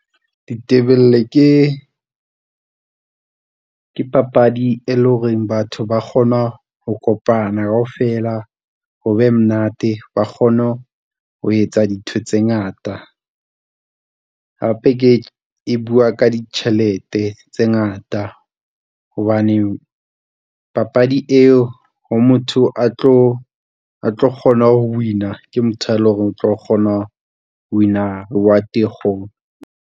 Ditebele ke, ke papadi e leng hore batho ba kgona ho kopana kaofela, ho be monate ba kgone ho etsa dintho tse ngata. Hape ke, e bua ka ditjhelete tse ngata hobane papadi eo ho motho a tlo, a tlo kgona ho win-a. Ke motho e leng hore o tlo kgona ho win-a wa .